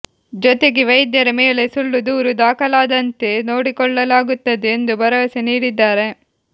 ಜೊತೆಗೆ ವೈದ್ಯರ ಮೇಲೆ ಸುಳ್ಳು ದೂರು ದಾಖಲಾಗದಂತೆ ನೋಡಿಕೊಳ್ಳಲಾಗುತ್ತದೆ ಎಂದು ಭರವಸೆ ನೀಡಿದ್ದಾರೆ